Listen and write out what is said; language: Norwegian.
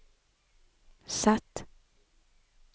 Z